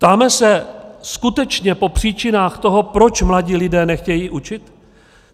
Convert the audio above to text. Ptáme se skutečně po příčinách toho, proč mladí lidé nechtějí učit?